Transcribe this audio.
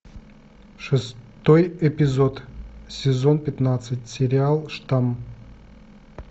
шестой эпизод сезон пятнадцать сериал штамм